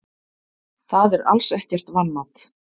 Það er alls ekkert vanmat.